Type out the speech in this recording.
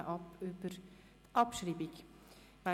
Wir stimmen über die Abschreibung ab.